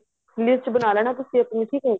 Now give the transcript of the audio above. list ਬਣਾ ਲੇਣਾ ਤੁਸੀਂ ਆਪਣੀ ਵੀ ਕੋਈ